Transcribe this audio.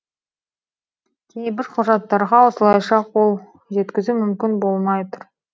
кейбір құжаттарға осылайша қол жеткізу мүмкін болмай тұр